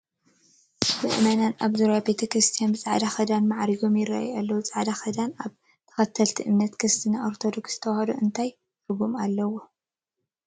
ምእመናን ኣብ ዙርያ ቤተ ክርስቲያን ብፃዕዳ ክዳን ማዕሪጎም ይርአዩ ኣለዉ፡፡ ፃዕዳ ክዳን ኣብ ተኸተልቲ እምነት ክርስትና ኦርቶዶክስ ተዋህዶ እንታይ ትርጉም ኣለዎ?